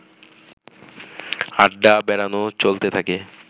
আড্ডা-বেড়ানো চলতে থাকে